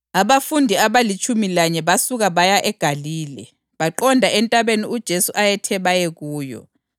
Abafundi abalitshumi lanye basuka baya eGalile, baqonda entabeni uJesu ayethe baye kuyo.